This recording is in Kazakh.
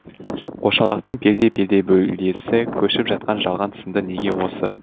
қошалақтың пелде пелде бөлесі көшіп жатқан жалған сынды неге осы